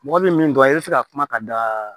Mɔgɔ bɛ min dɔn i bɛ se ka kuma ka da